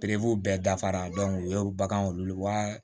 bɛɛ dafara o ye bagan olu wa